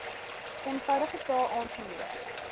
eenvoudige taal aangemoedig